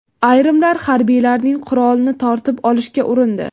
Ayrimlar harbiylarning qurolini tortib olishga urindi.